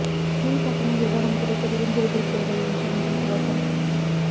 மின் கட்டண விவரம் குறித்த குறுஞ்செய்தி சேவை இன்று முதல் துவக்கம்